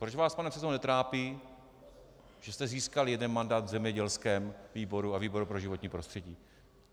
Proč vás, pane předsedo, netrápí, že jste získal jeden mandát v zemědělském výboru a výboru pro životní prostředí?